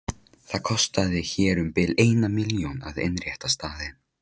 Það kostaði hér um bil eina milljón að innrétta staðinn.